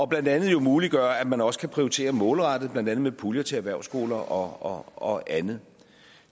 blandt andet muliggør at man også kan prioritere målrettet blandt andet med puljer til erhvervsskoler og og andet